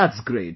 That's great